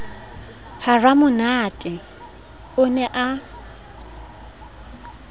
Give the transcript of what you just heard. ha ramonate o ne a